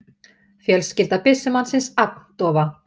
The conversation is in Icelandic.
Fjölskylda byssumannsins agndofa